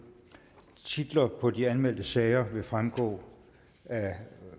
titlerne på de anmeldte sager vil fremgå af